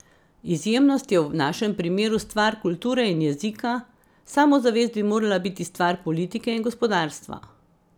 Izjemnost je v našem primeru stvar kulture in jezika, samozavest bi morala biti stvar politike in gospodarstva.